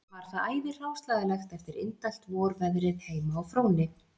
Var þar æði hráslagalegt eftir indælt vorveðrið heima á Fróni